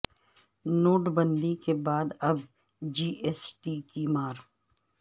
نوٹبندی کے بعد اب جی ایس ٹی کی مار